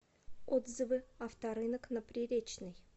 отзывы авторынок на приречной